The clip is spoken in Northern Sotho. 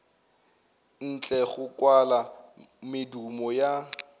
ntle go kwala medumo ya